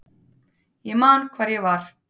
Ég man hvar ég var.